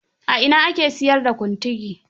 A ina ake siyar da Kuntigi?